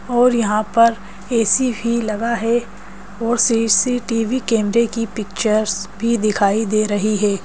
और यहां पर ए_सी भी लगा है और सी_सी_टी_वी कैमरे की पिक्चर्स भी दिखाई दे रही है।